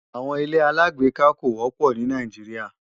Àwọn ilé-aláàgbéká kò wọ́pọ̀ ní Nàìjíríà